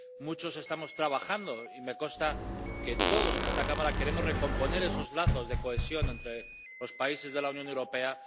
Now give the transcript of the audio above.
Muchos estamos trabajando, y me consta que todos en esta Cámara queremos recomponer esos lazos de cohesión entre los países de la Unión Europea.